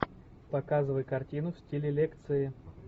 показывай картину в стиле лекции